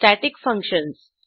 static functions